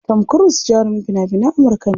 Tom cruse jarumin fina finan Amurka ne.